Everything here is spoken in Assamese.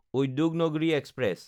উদ্যোগনাগ্ৰী এক্সপ্ৰেছ